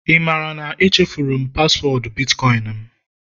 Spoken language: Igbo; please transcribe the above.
ị maara na echefuru m paswọọdụ bitkọịn m?